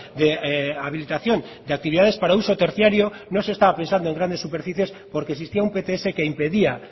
de habilitación de actividades para uso terciario no se estaba pensando en grandes superficies porque existía un pts que impedía